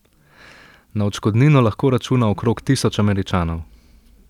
Na odškodnino lahko računa okrog tisoč Američanov.